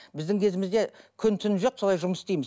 біздің кезімізде күн түн жоқ солай жұмыс істейміз